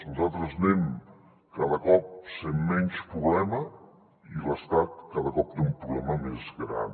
nosaltres anem cada cop sent menys problema i l’estat cada cop té un problema més gran